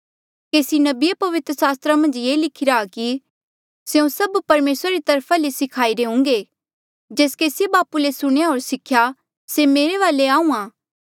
केसी नबिये पवित्र सास्त्रा मन्झा ये लिखिरा आ कि स्यों सब परमेसरा री तरफा ले सिखाई रे हुंगे जेस केसीये बापू ले सुणेया होर सिखेया से मेरे वाले आहूँआं